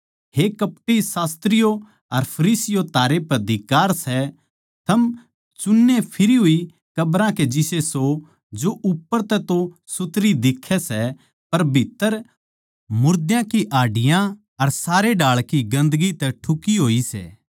हे कपटी शास्त्रियो अर फरीसियों थारै पै धिक्कार सै थम चुन्ने फिरी होई कब्रां के जिसे सो जो उप्पर तै तो सुथरी दिखै सै पर भीत्त्तर मुर्दां की हाड्डियाँ अर सारे ढाळ की गन्दगी तै ठुकी होई सै